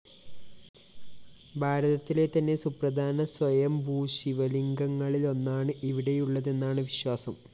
ഭാരതത്തിലെതന്നെ സുപ്രധാന സ്വയംഭൂ ശിവലിംഗങ്ങളിലൊന്നാണ് ഇവിടെയുള്ളതെന്നാണ് വിശ്വാസം